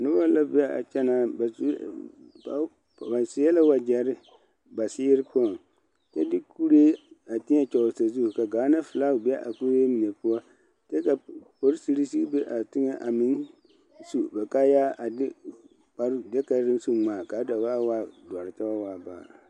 Nobɔ la be a kyɛnaa naŋ ba seɛ la wagyɛre ba seeri poɔŋ a de kuree a teɛ kyɔle sazu ka gaana filag be a kuree mine poɔ kyɛ ka polisirii sigi be a tegɛ a meŋ su ba kaayaa a de kaa kaayaa su ŋmaa ka a da boɔaa waa dɔre kyɛ wa waa baare.